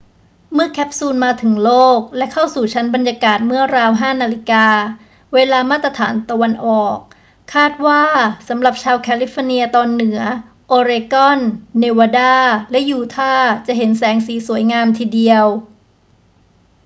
เมื่อแคปซูลมาถึงโลกและเข้าสู่ชั้นบรรยากาศเมื่อราว 5 น. เวลามาตรฐานตะวันออก คาดว่าสำหรับชาวแคลิฟอร์เนียตอนเหนือ โอเรกอน เนวาดา และยูทาห์ จะเห็นแสงสีสวยงามทีเดียว